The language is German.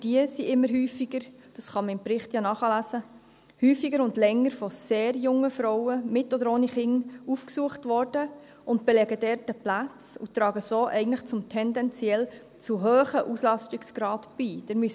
Diese wurden – das kann man im Bericht ja nachlesen – immer häufiger und länger von sehr jungen Frauen mit oder ohne Kinder aufgesucht, die dort Plätze belegen und so eigentlich zu tendenziell hohen Auslastungsgraden beitragen.